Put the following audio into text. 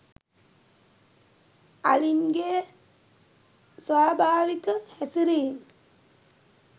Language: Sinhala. අලින්ගේ ස්වභාවික හැසිරීම්